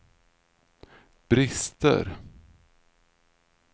brister